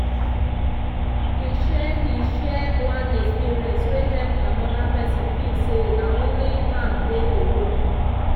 he share he share one experience wey help another person feel say na only am dey alone.